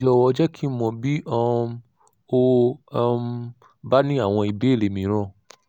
jọ̀wọ́ jẹ́ kí n mọ̀ bí um o um bá ní àwọn ìbéèrè mìíràn